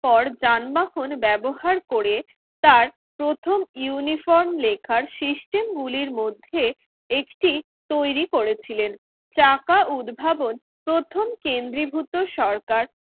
পর যানবাহন ব্যবহার করে তার প্রথম ইউনিফর্ম লেখার সিস্টেম গুলির মধ্যে একটি তৈরি করেছিলেন চাকা উদ্ভাবন প্রথম কেন্দ্রীভূত সরকার